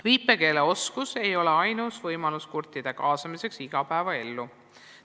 Viipekeeleoskus ei ole ainus võimalus kurtide kaasamiseks igapäevaellu.